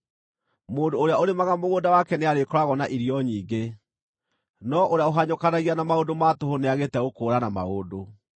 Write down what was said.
Mũndũ ũrĩa ũrĩmaga mũgũnda wake nĩarĩkoragwo na irio nyingĩ, no ũrĩa ũhanyũkanagia na maũndũ ma tũhũ nĩagĩte gũkũũrana maũndũ.